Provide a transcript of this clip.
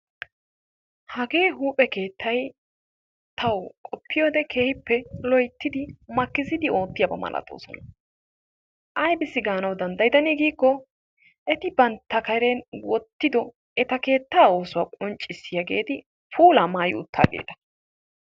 Hagee huuphe keettay tawu qoppiyode tawu loyittidi makkisidi oottiyaba malatoosona. Ayibissi gaanawu danddayidanaa giikko eti bantta Karen wottido eta keettaa oosuwa qonccissiyageeti puulaa maayi uttaageeta.